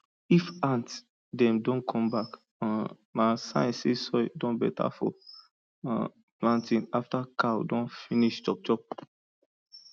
if ant dem don come back um na sign say soil don better for um planting after cow don finish chopchop